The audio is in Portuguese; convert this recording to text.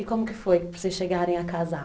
E como que foi para vocês chegarem a casar?